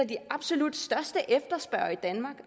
de absolut største efterspørgere i danmark